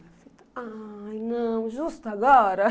Ai, não, justo agora?